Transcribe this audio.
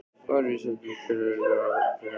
Var vísað í tilteknar lagagreinar þessu til stuðnings.